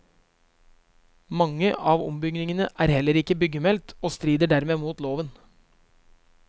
Mange av ombyggingene er heller ikke byggemeldt, og strider dermed mot loven.